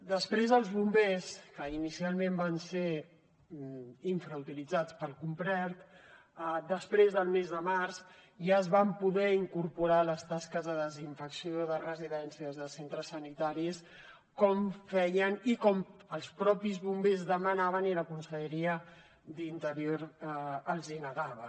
després els bombers que inicialment van ser infrautilitzats per complet després del mes de març ja es van poder incorporar a les tasques de desinfecció de residències i de centres sanitaris com feien i com els mateixos bombers demanaven i la conselleria d’interior els negava